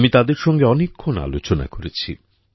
আমি তাদের সঙ্গে অনেকক্ষণ আলোচনা করেছি